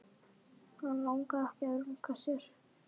Hann langaði ekki að runka sér.